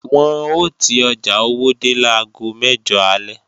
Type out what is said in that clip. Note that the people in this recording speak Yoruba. Wọn ò ti ọjà Owódé láago mẹ́jọ alẹ́